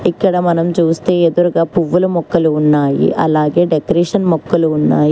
ఇక్కడ మనం చూస్తే ఎదురుగా పువ్వులు మొక్కలు ఉన్నాయి అలాగే డెకరేషన్ మొక్కలు ఉన్నాయి.